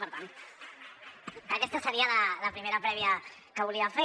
per tant aquesta seria la primera prèvia que volia fer